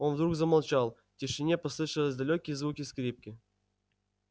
он вдруг замолчал в тишине послышались далёкие звуки скрипки